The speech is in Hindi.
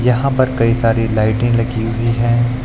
यहां पर कई सारी लाइटे लगी हुई हैं।